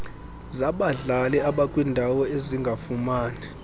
zabadlali abakwindawo ezingafumani